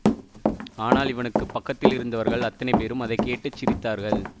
ஆனால் இவனுக்கு பக்கத்திலிருந்தவர்கள் அத்தனை பேரும் அதை கேட்டு சிரித்தார்கள்